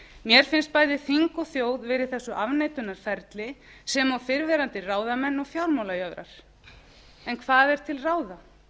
mér finnst bæði þing og þjóð vera í þessu afneitunarferli sem og fyrrverandi ráðamenn og fjármálajöfrar en hvað er til ráða